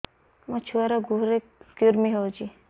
ମୋ ଛୁଆର୍ ଗୁହରେ କୁର୍ମି ହଉଚି